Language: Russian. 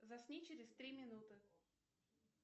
засни через три минуты